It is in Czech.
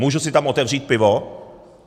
Můžu si tam otevřít pivo?